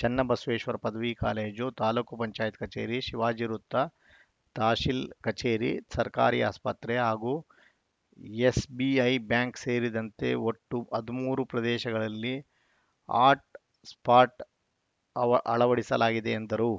ಚನ್ನಬಸವೇಶ್ವರ ಪದವಿ ಕಾಲೇಜು ತಾಲೂಕ್ ಪಂಚಾಯತ್ ಕಚೇರಿ ಶಿವಾಜಿ ವೃತ್ತ ತಹಸೀಲ್‌ ಕಚೇರಿ ಸರ್ಕಾರಿ ಆಸ್ಪತ್ರೆ ಹಾಗೂ ಎಸ್‌ಬಿಐ ಬ್ಯಾಂಕ್‌ ಸೇರಿದಂತೆ ಒಟ್ಟು ಹದಿಮೂರು ಪ್ರದೇಶಗಳಲ್ಲಿ ಹಾಟ್‌ಸ್ಪಾಟ್‌ ಅವ ಅಳವಡಿಸಲಾಗಿದೆ ಎಂದರು